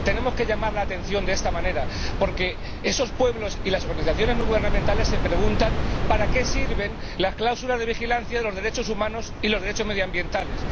Tenemos que llamar la atención de esta manera, porque esos pueblos y las organizaciones no gubernamentales se preguntan para qué sirven las cláusulas de vigilancia de los derechos humanos y los derechos medioambientales.